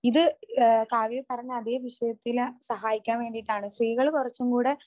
ഇത് ഏഹ് കാവ്യ പറഞ്ഞ അതേ വിഷയത്തില് സഹായിക്കാൻ വേണ്ടിയിട്ടാണ്. സ്ത്രീകള് കുറച്ചും കൂടെ